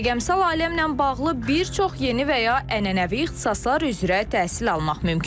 Rəqəmsal aləmlə bağlı bir çox yeni və ya ənənəvi ixtisaslar üzrə təhsil almaq mümkündür.